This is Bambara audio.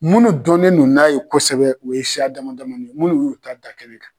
Munnu dɔnnen do n'a ye kosɛbɛ o ye siya dama dama ni ye munnu y'u ta da kɛnɛ kan.